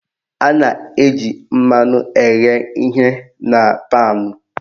A na-eji mmanụ eghe ihe na paanụ